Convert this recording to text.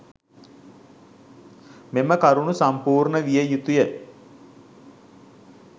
මෙම කරුණු සම්පූර්ණ විය යුතුය.